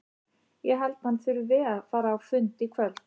Ég held að hann þurfi að fara á fund í kvöld.